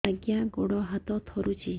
ଆଜ୍ଞା ଗୋଡ଼ ହାତ ଥରୁଛି